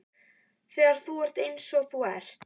Þegar þú ert eins og þú ert.